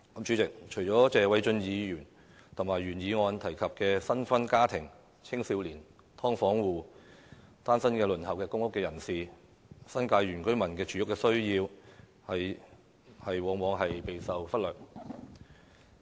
主席，除了謝偉俊議員在原議案中提及的新婚家庭、青年人、"劏房戶"及單身輪候公屋等人士外，新界原居民的住屋需要往往備受忽略。